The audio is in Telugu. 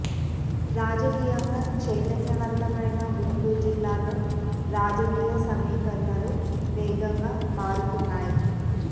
రాజాకీయంగా చైతన్య వంతమైన గుంటూరు జిల్లాలో రాజకీయ సమీకరణలు వేగంగా మారుతున్నాయి